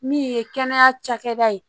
Min ye kɛnɛya cakɛda ye